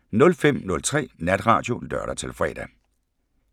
05:03: Natradio (lør-fre)